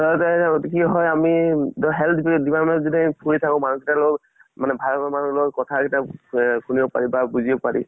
কি হয় আমি ই health department ত যেতিয়া আমি ফুৰি থাকো মানুহ গিতাৰ লগত মানে ভাল ভাল মানুহৰ লগত কথা কেইটা শুনিব পাৰি বা বুজিব পাৰি।